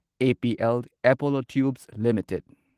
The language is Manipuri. APL Apollo tubes limited